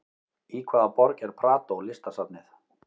Í hvaða borg er Prado listasafnið?